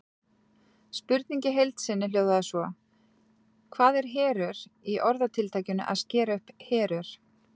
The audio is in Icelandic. Spurningin í heild sinni hljóðaði svo: Hvað er herör í orðatiltækinu að skera upp herör?